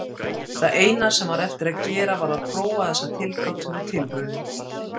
Það eina sem var eftir að gera var að prófa þessa tilgátu með tilraunum.